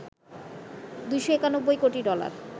২৯১ কোটি ডলার